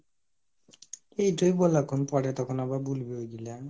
এটয় বল এখন পরে তখন আবার বুলবি ঐইগুলা,